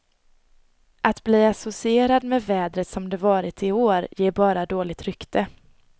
Att bli associerad med vädret som det varit i år ger bara dåligt rykte.